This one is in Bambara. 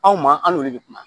Anw maa an n'olu de bɛ kuma